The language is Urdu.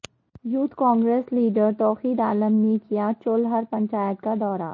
youth Congress leader Tauqeer Alam نے کیا چولہر پنچایت کا دورہ